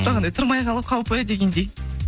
жоқ ондай тұрмай қалу қаупі дегендей